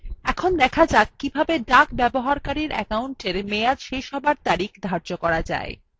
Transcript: এখন দেখা duck কিভাবে duck ব্যবহারকারীর অ্যাকাউন্টের মেয়াদ শেষ হওয়ার তারিখ ধার্য করা যায়